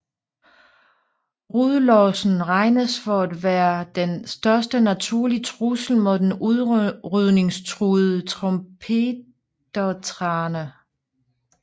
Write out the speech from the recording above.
Rødlossen regnes for at være den største naturlige trussel mod den udrydningstruede trompetértrane